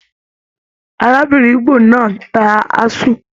Arábìnrin ígbò náà n tá aṣu.